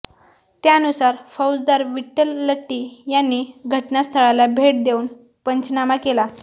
त्यानुसार फौजदार विठ्ठल लट्टी यांनी घटनास्थळाला भेट देऊन पंचनामा केला